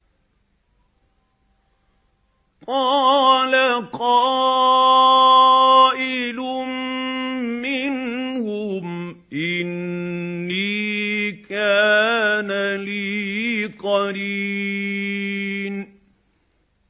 قَالَ قَائِلٌ مِّنْهُمْ إِنِّي كَانَ لِي قَرِينٌ